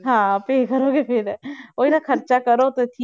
ਹਾਂ ਉਹੀ ਨਾ ਖ਼ਰਚਾ ਕਰੋ ਤੇ